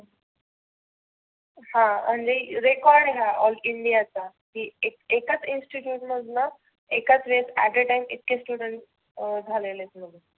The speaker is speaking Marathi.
हा आणि record आहे हा all इंडिया चा. की एकाच Institute मधनं एकाच वेळेस at a time इतके students अं झालेले आहेत.